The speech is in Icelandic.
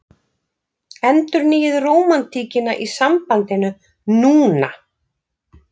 Endurnýið rómantíkina í sambandinu NÚNA!